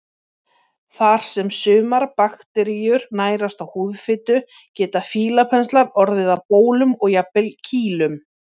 Þar sem sumar bakteríur nærast á húðfitu geta fílapenslar orðið að bólum og jafnvel kýlum.